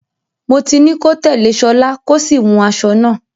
Mo ti ní kó tẹ̀lé Ṣọlá, kó sì wun aṣọ náà.